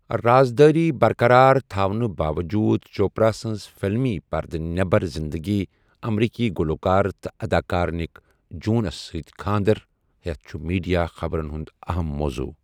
راز دٲری برقرار تھاونہٕ باوجوٗد، چوپرا سٕنٛز فِلمی پردٕ نٮ۪بَر زِنٛدگی، امریٖکی گُلوکار تہٕ اَداکار نِک جونس سۭتۍ خانٛدر ہیتھ، چُھ میٖڈیا خبرن ہُنٛد اَہم موضوٗع ۔